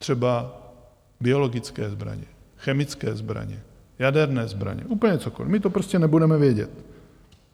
Třeba biologické zbraně, chemické zbraně, jaderné zbraně, úplně cokoliv, my to prostě nebudeme vědět.